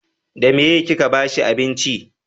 da meye ki ka bashi abinci?